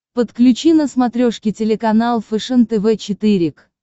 подключи на смотрешке телеканал фэшен тв четыре к